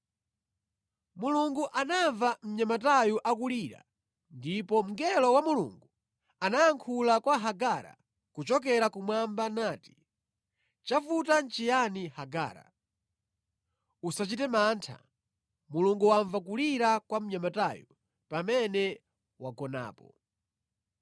Mulungu anamva mnyamatayo akulira ndipo mngelo wa Mulungu anayankhula kwa Hagara kuchokera kumwamba nati, “Chavuta nʼchiyani Hagara? Usachite mantha; Mulungu wamva kulira kwa mnyamatayo pamene wagonapo.